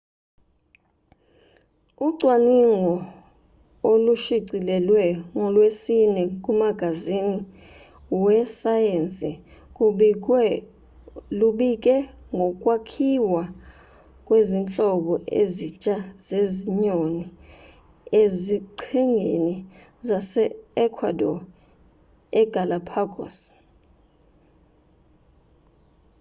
ucwaningo olushicilelwe ngolwesine kumagazini wesayensi lubike ngokwakhiwa kwezinhlobo ezintsha zezinyoni eziqhingini zase-ecuadore egalápagos